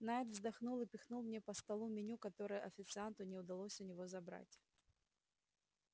найд вздохнул и пихнул мне по столу меню которое официанту не удалось у него забрать